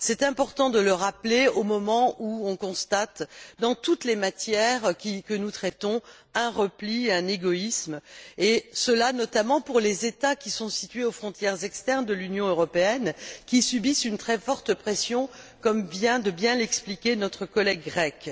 C'est important de le rappeler au moment où nous constatons, dans toutes les matières que nous traitons, un repli et un égoïsme, et cela, notamment, pour les États qui sont situés aux frontières externes de l'Union européenne, qui subissent une très forte pression, comme vient de bien l'expliquer notre collègue grecque.